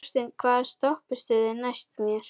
Þorsteinn, hvaða stoppistöð er næst mér?